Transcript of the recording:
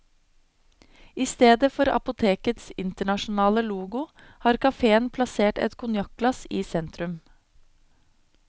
I stedet for apotekets internasjonale logo har caféen plassert et konjakkglass i sentrum.